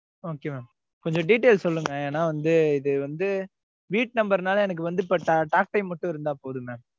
Okay mam கொஞ்சம் detail சொல்லுங்க. ஏன்னா வந்து, இது வந்து, வீட்டு number னால, எனக்கு வந்து, talk time மட்டும் இருந்தா போதும்,